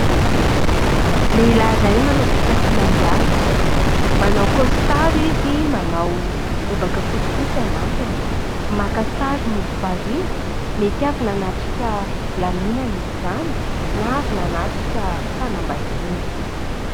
Lehilahy iray manao fitafiana mihaja, manao kaositara izy, manao lobaka fotsifotsy anatiny, maka sary mody variana; mety avy nanatrika lanonana izy izany na avy nanatrika fanambadiana.